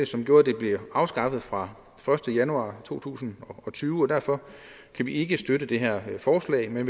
som gjorde at det blev afskaffet fra den første januar to tusind og tyve og derfor kan vi ikke støtte det her forslag men